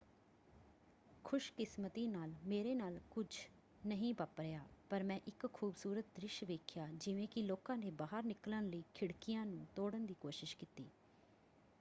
"ਖੁਸ਼ਕਿਸਮਤੀ ਨਾਲ ਮੇਰੇ ਨਾਲ ਕੁਝ ਨਹੀਂ ਵਾਪਰਿਆ ਪਰ ਮੈਂ ਇੱਕ ਖੂਬਸੂਰਤ ਦ੍ਰਿਸ਼ ਵੇਖਿਆ ਜਿਵੇਂ ਕਿ ਲੋਕਾਂ ਨੇ ਬਾਹਰ ਨਿਕਲਣ ਲਈ ਖਿੜਕੀਆਂ ਨੂੰ ਤੋੜਨ ਦੀ ਕੋਸ਼ਿਸ਼ ਕੀਤੀ।